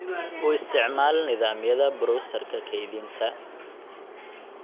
U isticmaal nidaamyada browserka kaydinta